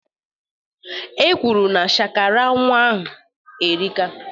E kwuru na shakara nnwa ahụ erika